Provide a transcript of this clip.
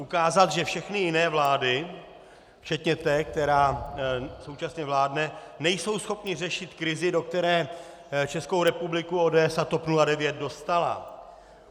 Ukázat, že všechny jiné vlády včetně té, která současně vládne, nejsou schopny řešit krizi, do které Českou republiku ODS a TOP 09 dostala.